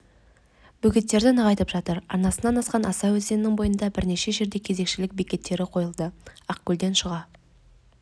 бөгеттерді нығайтып жатыр арнасынан асқан аса өзенінің бойында бірнеше жерде кезекшілік бекеттері қойылды ақкөлден шыға